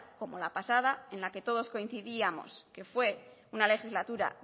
como la pasada en la que todos coincidíamos que fue una legislatura